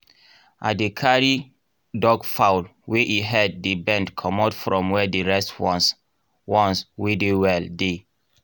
i dey carry duckfowl wey e head dey bend comot from where the rest ones ones wey dey well dey